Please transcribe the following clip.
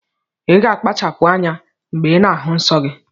Iga akpachapu anya mgbe ina ahu nnsọgi!!